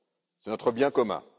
C'est notre bien commun.